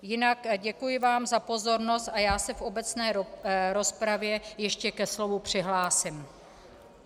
Jinak děkuji vám za pozornost a já se v obecné rozpravě ještě ke slovu přihlásím.